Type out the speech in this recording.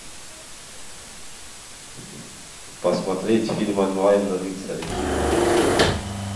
посмотреть фильм онлайн рыцари